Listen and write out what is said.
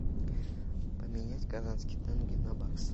поменять казахский тенге на бакс